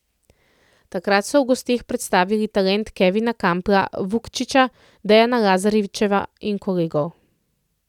Takrat so v gosteh predstavili talent Kevina Kampla, Vučkića, Dejana Lazarevića in kolegov.